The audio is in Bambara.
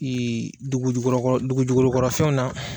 dugujukɔrɔ kɔrɔ dugujukolo kɔrɔ fɛn na.